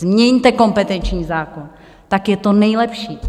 Změňte kompetenční zákon, tak je to nejlepší.